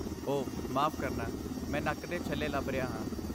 ਓਹ, ਮਾਫ ਕਰਨਾ, ਮੈਂ ਨੱਕ ਦੇ ਛੱਲੇ ਲੱਭ ਰਿਹਾ ਹਾਂ।